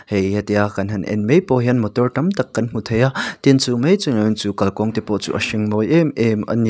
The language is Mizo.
hei hetia kan han en mai pawh hian motor tam tak kan hmuh thei a tin chu mai chu niloin chu kalkawng te pawh chu a hring mawi em em ani.